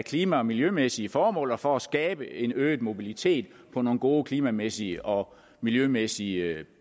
klima og miljømæssige formål og for at skabe en øget mobilitet på nogle gode klimamæssige og miljømæssige